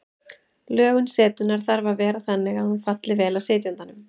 Lögun setunnar þarf að vera þannig að hún falli vel að sitjandanum.